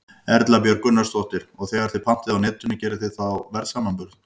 Erla Björg Gunnarsdóttir: Og þegar þið pantið á Netinu, gerið þið þá verðsamanburð?